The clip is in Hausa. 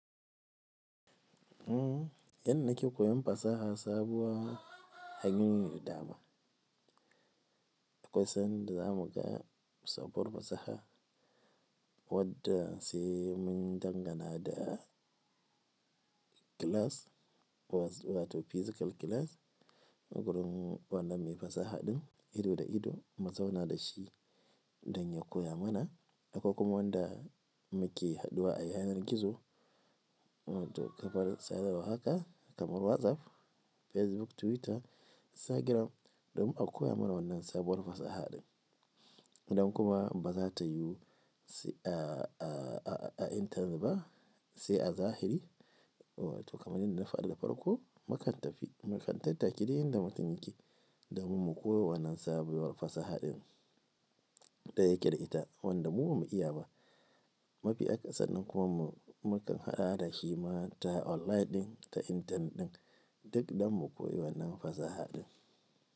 Eh yanda nake koyon fasaha sabuwa hanyoyi ne da dama. Akwai sanda zamu ga sabuwar fasaha wadda sai mun dangana da class wato physical class. Gurun wannan mai fasaha ɗin ido da ido mu zauna da shi don ya koya mana. Akwai kuma wanda muke haɗuwa a yanar gizo, wato kafar sadarwa haka kamar WhatsApp, Facebook, Twitter, Instagram domin a koya mana wannan sabuwar fasaha ɗin. Idon kuma ba za ta yiwu a internet ba sai a zahiri wato kamar yanda na faɗa da farko, mu kan tafi, mu kan tattaki di inda mutun yake domin mu koyo wannan sabuwar fasaha ɗin da yake da ita wadda mu ba mu iya ba. Mafi aka sannan kuma mu kan haɗawa da shi ma ta online din ta internet ɗin duk don mu koyi wannan fasaha din.